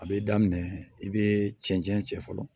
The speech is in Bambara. A bɛ daminɛ i bɛ cɛncɛn cɛ fɔlɔ